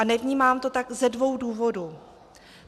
A nevnímám to tak ze dvou důvodů.